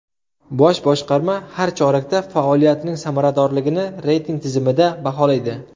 Bosh boshqarma har chorakda faoliyatining samaradorligini reyting tizimida baholaydi.